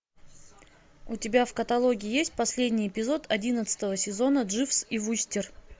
у тебя в каталоге есть последний эпизод одиннадцатого сезона дживс и вустер